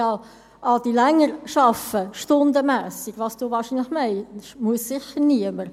Ja, Adrian Haas, stundenmässig länger arbeiten, was du wahrscheinlich meinst, muss sicher niemand.